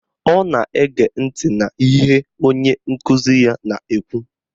Ọ na-ege ntị n'ihe onye nkụzi ya na-ekwu